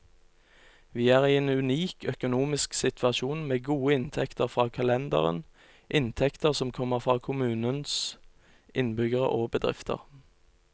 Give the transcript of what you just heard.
Vi er i en unik økonomisk situasjon, med gode inntekter fra kalenderen, inntekter som kommer fra kommunens innbyggere og bedrifter.